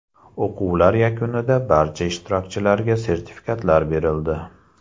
O‘quvlar yakunida barcha ishtirokchilarga sertifikatlar berildi.